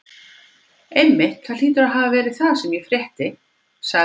Einmitt, það hlýtur að hafa verið það sem ég frétti sagði